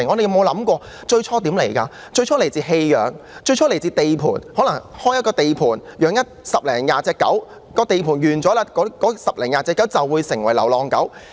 牠們最初是來自棄養和地盤，可能是開設了一個地盤，飼養了十多二十隻狗，當地盤完工後，那十多二十隻狗便成為流浪狗。